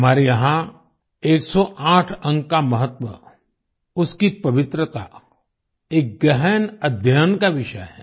हमारे यहाँ 108 अंक का महत्व उसकी पवित्रता एक गहन अध्ययन का विषय है